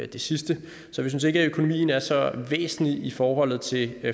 det sidste så vi synes ikke at økonomien er så væsentlig i forholdet til